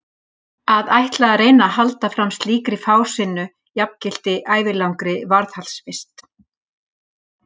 Að ætla að reyna að halda fram slíkri fásinnu jafngilti ævilangri varðhaldsvist.